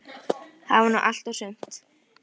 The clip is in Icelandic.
Eftir einhverja leit rakst ég á Nonna Matt.